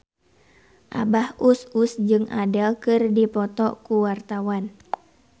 Abah Us Us jeung Adele keur dipoto ku wartawan